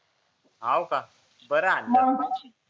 हावं का बर हाणले